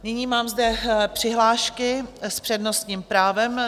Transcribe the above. Nyní mám zde přihlášky s přednostním právem.